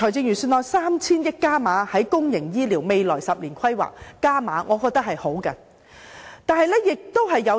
預算案為公營醫療未來10年的規劃增撥 3,000 億元，我認為是好的。